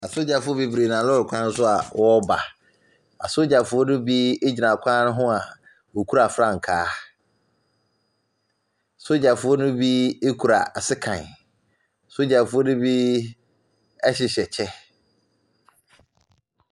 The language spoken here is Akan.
Asogyafoɔ beberee nam lɔre kwan so a wɔba. Asogyafoɔ ne bi egyina kwan ho a wokura frankaa. Sogyafoɔ ne bi ekura sekan. Sogyafoɔ ne bi ɛhyehyɛ kyɛ.